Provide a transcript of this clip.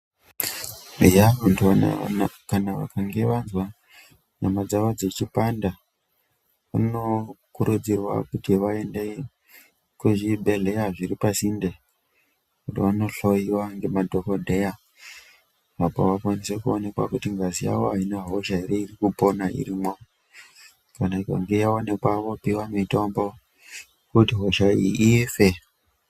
Eya kana vanhu vazwa nyama dzavo dzechipanda vanokurudzirwa kuti vaende kuzvibhehlera zviri pasinde kuti vanohloyiwa nemadhokodheya apo kuti vakwanise kuonekwa kuti ngazi yavo Aina hosha ere iri kupona irimwo. Kana ikange yaonekwa vopiwa mitombo kuti hosha iyi ife.